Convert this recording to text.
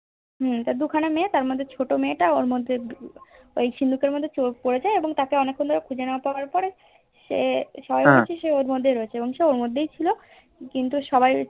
তার দুখানা মেয়ে তার মধ্যে তার ছোট মেয়েটা ওই সিন্ধুকের মধ্যে পরে যায় এঁবং তাকে খুঁজে না পাওয়া এবং সে অর্মদ্বেহী ছিল কিন্তু সবাই